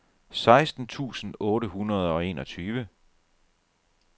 seksten tusind otte hundrede og enogtyve